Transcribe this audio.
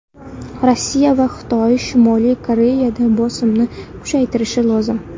Rossiya va Xitoy Shimoliy Koreyaga bosimni kuchaytirishi lozim.